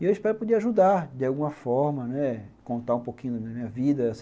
E eu espero poder ajudar de alguma forma, né, contar um pouquinho da minha vida.